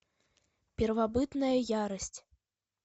первобытная ярость